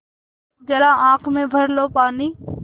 ज़रा आँख में भर लो पानी